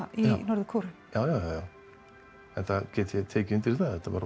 í Norður Kóreu já enda get ég tekið undir það það var